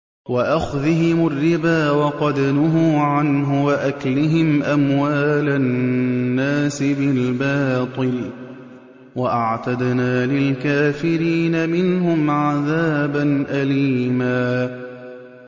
وَأَخْذِهِمُ الرِّبَا وَقَدْ نُهُوا عَنْهُ وَأَكْلِهِمْ أَمْوَالَ النَّاسِ بِالْبَاطِلِ ۚ وَأَعْتَدْنَا لِلْكَافِرِينَ مِنْهُمْ عَذَابًا أَلِيمًا